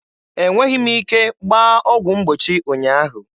E nweghị m ike gbaa ọgwụ mgbochi ụnyaahụ.